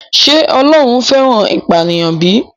Ṣé Ọlọ́run fẹ́ràn ìpànìyàn bí?